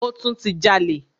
Ó tún ti jalè.